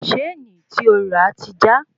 sáànì tí o rà ti já